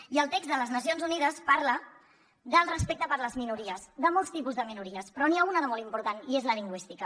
i el text de les nacions unides parla del respecte per les minories de molts tipus de minories però n’hi ha una de molt important i és la lingüística